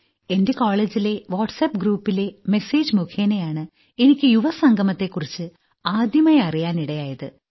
എന്റെ കോളേജിലെ WhatsApp groups message മുഖേനയാണ് എനിക്ക് യുവസംഗമത്തെക്കുറിച്ച് ആദ്യമായി അറിയാനിടയായത്